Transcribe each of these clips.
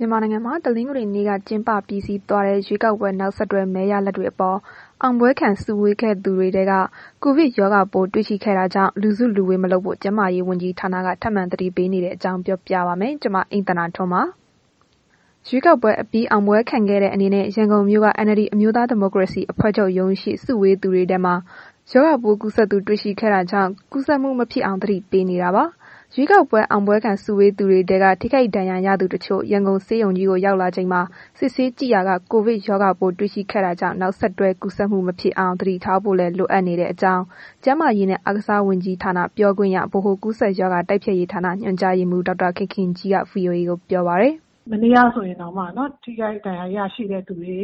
မြန်မာနိုင်ငံမှာ တနင်္ဂနွေနေ့က ကျင်းပပြီးစီးသွားတဲ့ ရွေးကောက်ပွဲ နောက်ဆက်တွဲ မဲရလဒ်တွေအပေါ် အောင်ပွဲခံစုဝေးခဲ့သူတွေထဲ ကိုဗစ်ရောဂါပိုး တွေ့ရှိခဲ့တာကြောင့် လူစုလူဝေးမလုပ်ဖို့ ကျန်းမာရေးဝန်ကြီးဌာနက ထပ်မံသတိပေးနေတဲ့အကြောင်း ပြောပြပါမယ်။ ဗွီအိုအေမြန်မာပိုင်းသတင်းထောက် မအိမ့်သန္တာထွန်းက သတင်းပေးပို့ထားပါတယ်။ ရွေးကောက်ပွဲအပြီး အောင်ပွဲခံတဲ့ အနေနဲ့ ရန်ကုန်မြို့က NLD အမျိုးသားဒီမိုကရေစီအဖွဲ့ချုပ်ရုံးရှေ့ စုဝေးသူတွေထဲမှာ ရောဂါပိုးကူးစက်သူ တွေ့ရှိခဲ့တာကြောင့် ကူးစက်မှု မဖြစ်အောင် သတိပေးနေတာပါ။ ရွေးကောက်ပွဲ အောင်ပွဲခံစုဝေးသူတွေထဲက ထိခိုက်ဒဏ်ရာရသူတချို့ ရန်ကုန်ဆေးရုံကြီးကို ရောက်လာချိန်မှာ စစ်ဆေးကြည့်ရာက ကိုဗစ်ရောဂါပိုး တွေ့ရှိခဲ့တာကြောင့် နောက်ဆက်တွဲ ကူးစက်မှုမဖြစ်အောင် သတိထားဖို့လည်း လိုအပ်နေတဲ့အကြောင်း ကျန်းမာရေးနဲ့ အားကစားဝန်ကြီးဌာန ပြောခွင့်ရ၊ ဗဟိုကူးစက်ရောဂါ တိုက်ဖျက်ရေးဌာန ညွှန်ကြားရေးမှုး ဒေါက်တာခင်ခင်ကြီးက ဗွီအိုအေကို ပြောပါတယ်။ “မနေ့ကဆိုရင် ထိခိုက် ဒဏ်ရာရတဲ့သူတွေ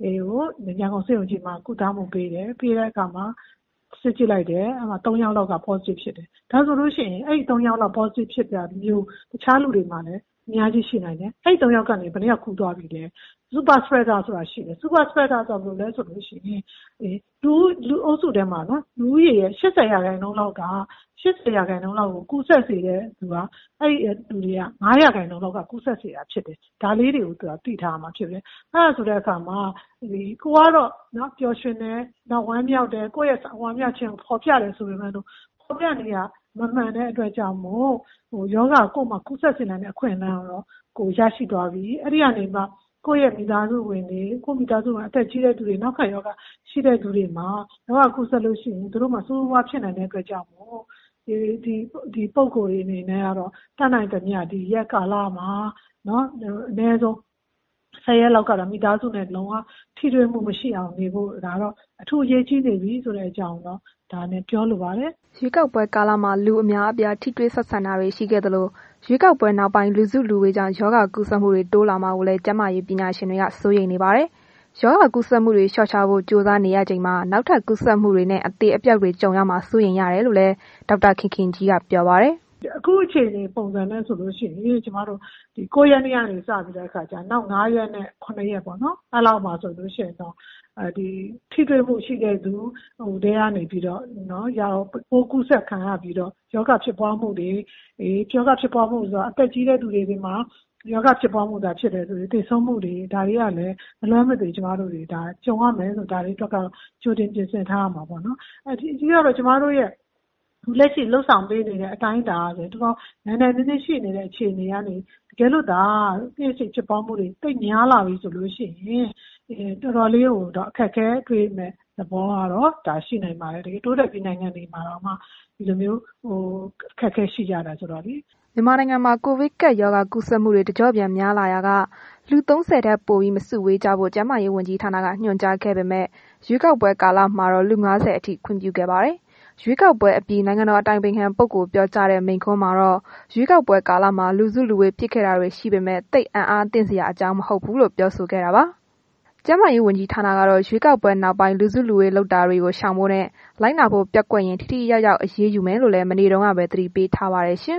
ကို ရန်ကုန်ဆေးရုံကြီးမှာ ကုသမှုပေးတယ်။ အဲ့ဒီမှာ စစ်ကြည့်လိုက်တယ်။ သုံး ယောက်လောက်က Positive ဖြစ်တယ်။ ဒါဆိုလို့ရှိရင် အဲ့ဒီ သုံး ယောက် Positive ဖြစ်တာမျိုး နောက်လူတွေမှာလည်း အများကြီးဖြစ်နိုင်တယ်။ အဲ့ဒီ သုံး ယောက်ကနေ ဘယ်နှစ်ယောက် ကူးသွားပြီလဲ။ လူအုပ်စုထဲမှာ လူဦးရေရဲ့ ၈၀ ရာခိုင်နှုန်းလောက်ကို ကူးစက်စေတာက အဲ့ဒီ လူဦးရေထဲက ၅ ရာခိုင်နှုန်းလောက်က ကူးစက်စေတာဖြစ်တယ်။ ဒါလေးတွေကို သိထားရမှာဖြစ်တယ်။ အဲ့ဒီလိုဆိုတဲ့ အခါမှာ ကိုယ်ကတော့ ပျော်ရွှင်တယ်၊ ဝမ်းမြောက်တယ်၊ ကိုယ့်ရဲ့ ဝမ်းမြောက်ခြင်းကို ဖော်ပြတယ်ဆိုပေမဲ့ ဖော်ပြနေတာ မမှန်တဲ့ အတွက်ကြောင့်မို့ ကိုယ့်မှာ ရောဂါကူးစက်စေနိုင်တဲ့ အခွင့်အလမ်းကတော့ ရရှိသွားပြီ။ အဲ့ဒီကနေမှ ကိုယ့်ရဲ့ မိသားစုဝင်တွေ အသက်ကြီးတဲ့ သူတွေ၊ ‌နောက်ခံရောဂါရှိတဲ့သူတွေမှာ ရောဂါကူးစက်လို့ရှိရင် ဆိုးဆိုးဝါးဝါးဖြစ်နိုင်တဲ့ အတွက်ကြောင့်မို့ ဒီပုဂ္ဂိုလ်တွေအနေနဲ့ကတော့ ဒီရက်ကာလမှာ အနည်းဆုံး ၁၀ ရက်လောက်ကတော့ မိသားစုနဲ့ လုံးဝ ထိတွေ့မှုမရှိအောင်နေဖို့က အထူးအရေးကြီးနေပြီဆိုတာကို ပြောလိုပါတယ်။” ရွေးကောက်ပွဲကာလမှာ လူအများအပြား ထိတွေ့ဆက်ဆံတာတွေ ရှိခဲ့သလို၊ ရွေးကောက်ပွဲနောက်ပိုင်း လူစုလူဝေးကြောင့် ရောဂါကူးစက်မှုတွေ တိုးလာမှာကိုလည်း ကျန်းမာရေးပညာရှင်တွေ စိုးရိမ်နေပါတယ်။ ရောဂါကူးစက်မှုတွေ လျှော့ချဖို့ ကြိုးစားနေရချိန်မှာ နောက်ထပ် ကူးစက်မှုတွေနဲ့ အသေအပျောက်တွေ ကြုံရမှာ စိုးရိမ်ရတယ်လို့လည်း ‌ဒေါက်တာခင်ခင်ကြီးက ပြောပါတယ်။ “အခု အခြေအနေပုံစံနဲ့ဆိုရင် ကျမတို့ ၉ ရက်နေ့ကနေ စပြီးလို့ရှိရင် နောက် ၅ ရက်ကနေ ၇ ရက်ပေါ့နော်။ အဲ့ဒီလောက်မှာ ဆိုလို့ရှိရင်တော့ ထိတွေ့မှု ရှိတဲ့သူတွေထဲကနေ ကူးစက်ခံရပြီးတော့ ရောဂါဖြစ်ပွားမှုတွေ၊ အသက်ကြီးတဲ့သူတွေမှာ ဖြစ်မယ်ဆိုရင် သေဆုံးမှုတွေ ဒါတွေကလည်း မလွဲမသွေ ကြုံရမယ်လို့ ကျမတို့ကတော့ ကြိုတင်ပြင်ဆင်ထားရမှာပေါ့နေ်။ ပြီးတော့ ကျမတို့ရဲ့ လက်ရှိလုပ်ဆောင်ပေးနေတဲ့ အတိုင်းအတာကလည်း နိုင်နိုင်နင်းနင်းရှိနေတဲ့ အခြေအနေကနေ တကယ်လို့သာ နေ့စဉ်ဖြစ်ပွားမှုတွေ သိပ်များလာပြီဆိုလို့ရှိရင် တော်တော်လေးကို အခက်အခဲတွေ့မယ့် သဘောမျိုးကတော့ ရှိနိုင်ပါတယ်။ တိုးတက်ပြီး နိုင်ငံတွေမှာတောင်မှ ဒီလိုမျိုး အခက်အခဲရှိကြတယ်ဆိုတော့လေ။” မြန်မာနိုင်ငံမှာ ကိုဗစ်ကပ်ရောဂါ ကူးစက်မှုတွေ တကျော့ပြန်များလာရာက လူ ၃၀ ထက်ပိုပြီးမစုဝေးကြဖို့ ကျန်းမာရေးဝန်ကြီးဌာနက ညွှန်ကြားခဲ့ပေမဲ့ ရွေးကောက်ပွဲ ကာလမှာတော့ လူ ၅၀ အထိ ခွင့်ပြုခဲ့ပါတယ်။ ရွေးကောက်ပွဲအပြီး နိုင်ငံတော်အတိုင်ပင်ခံပုဂ္ဂိုလ် ပြောကြားတဲ့ မိန့်ခွန်းမှာတော့ ရွေးကောက်ပွဲကာလမှာ လူစုလူဝေး ဖြစ်ခဲ့တာတွေ ရှိခဲ့ပေမဲ့ သိပ်အံ့အားသင့်စရာ မဟုတ်ကြောင်း ပြောဆိုခဲ့တာပါ။ ကျန်းမာရေး ဝန်ကြီးဌာနကတော့ ရွေးကောက်ပွဲ နောက်ပိုင်း လူစုလူဝေးလုပ်တာတွေကို ရှောင်ဖို့နဲ့ လိုက်နာဖို့ ပျက်ကွက်ရင် ထိထိရောက်ရောက် အရေးယူမယ်လို့လည်း မနေ့တုန်းကပဲ သတိပေးထားပါတယ်။